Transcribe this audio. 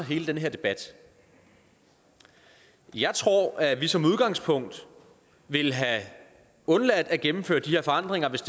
hele den her debat jeg tror at vi som udgangspunkt ville have undladt at gennemføre de her forandringer hvis